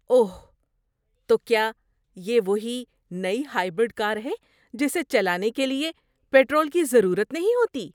اوہ! تو کیا یہ وہی نئی ہائبرڈ کار ہے جسے چلانے کے لیے پیٹرول کی ضرورت نہیں ہوتی؟